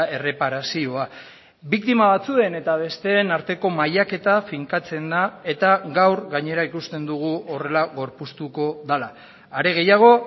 erreparazioa biktima batzuen eta besteen arteko mailaketa finkatzen da eta gaur gainera ikusten dugu horrela gorpuztuko dela are gehiago